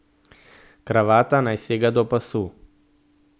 Kravata naj sega do pasu.